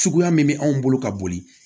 Suguya min bɛ anw bolo ka boli